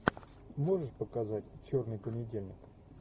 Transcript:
можешь показать черный понедельник